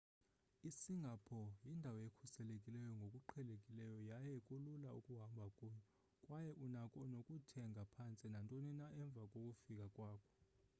isingapore yindawo ekhuselekileyo ngokuqhelekileyo yaye kulula ukuhamba kuyo kwaye unako nokuthenga phantse nantoni na emva kokufika kwakho